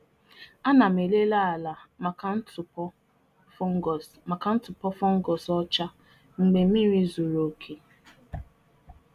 Ana m enyocha ala ma nnukwu mmiri zochaa, ile ma m ga-ahu ebe nje ọrịa fọnguus nyere ntụpọ ọcha n'ala.